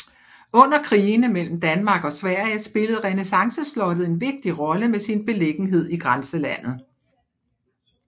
Under krigene mellem Danmark og Sverige spillede renæssanceslottet en vigtig rolle med sin beliggenhed i grænselandet